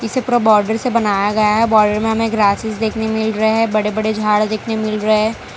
इसे पूरा बॉर्डर से बनाया गया है बॉर्डर में हमें ग्रासेस देखने मिल रहे हैं बड़े बड़े झाड़ देखने को मिल रहे हैं।